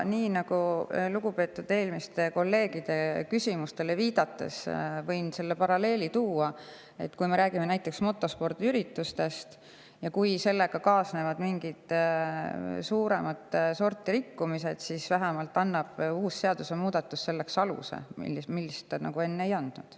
Võin lugupeetud eelmiste kolleegide küsimustele viidates tuua selle paralleeli, et kui me räägime näiteks motospordiüritustest ja kui nendega kaasnevad mingid suuremat sorti rikkumised, siis annab seadusemuudatus aluse selliseks karistuseks, milleks enne ei andnud.